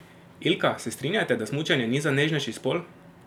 Ilka, se strinjate, da smučanje ni za nežnejši spol?